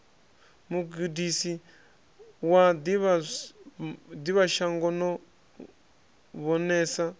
mugudisi wa ḓivhashango no vhonesa